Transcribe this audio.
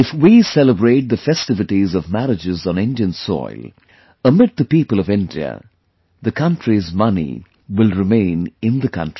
If we celebrate the festivities of marriages on Indian soil, amid the people of India, the country's money will remain in the country